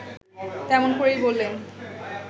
তেমন করেই বললেন